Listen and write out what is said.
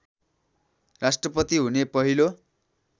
राष्ट्रपति हुने पहिलो